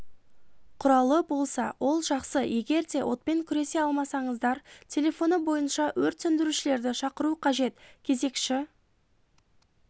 құралы болса ол жақсы егерде отпен күресе алмасаңыздар телефоны бойынша өрт сөндірушілерді шақыру қажет кезекші